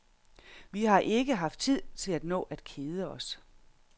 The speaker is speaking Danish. Vi har ikke haft tid til at nå at kede os.